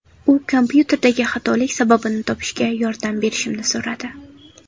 U kompyuterdagi xatolik sababini topishga yordam berishimni so‘radi.